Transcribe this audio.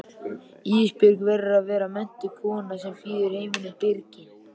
Ísbjörg verður að vera menntuð kona sem býður heiminum byrginn.